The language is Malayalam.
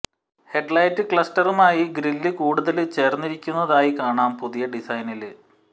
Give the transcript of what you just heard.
ഹെഡ്ലൈറ്റ് ക്ലസ്റ്ററുമായി ഗ്രില് കൂടുതല് ചേര്ന്നിരിക്കുന്നതായി കാണാം പുതിയ ഡിസൈനില്